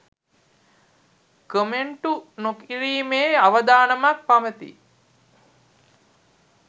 කොමෙන්ටු නොකිරීමේ අවධානමක් පවතී